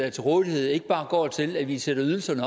er til rådighed ikke bare går til at i sætter ydelserne